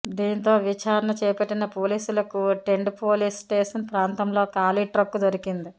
దీంతో విచారణ చేపట్టిన పోలీసులకు టెండు పోలీసు స్టేషన్ ప్రాంతంలో ఖాళీ ట్రక్కు దొరికింది